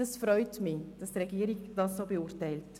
Es freut mich, dass die Regierung dies so beurteilt.